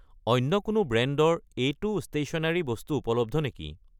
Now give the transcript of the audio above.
অন্য কোনো ব্ৰেণ্ডৰ এইটো ষ্টেশ্যনেৰি বস্তু উপলব্ধ নেকি?